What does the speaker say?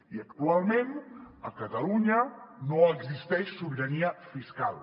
i actualment a catalunya no existeix sobirania fiscal